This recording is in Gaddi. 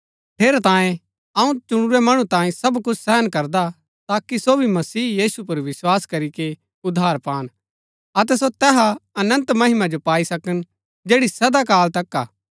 ठेरैतांये अऊँ चुणुरै मणु तांई सब कुछ सहन करदा ताकि सो भी मसीह यीशु पुर विस्वास करीके उद्धार पान अतै सो तैहा अनन्त महिमा जो पाई सकन जैड़ी सदा काल तक हा